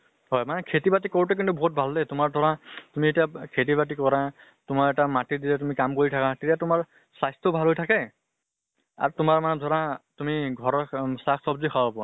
হয় মানে খেতি বাতি কৰোতে কিন্তু বহুত ভাল দে। তোমাৰ ধৰা তুমি এতিয়া খেতি বাতি কৰা, তোমাৰ এটা মাটিত যেতিয়া তুমি কাম কৰি থাকা, তেতিয়া তোমাৰ স্বাস্থ্য ভালে থাকে আৰু তোমাৰ মানে ধৰা তুমি ঘৰৰ অম চাক চব্জি খাব পাৰা।